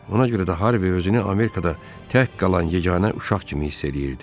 Ona görə də Harvi özünü Amerikada tək qalan yeganə uşaq kimi hiss eləyirdi.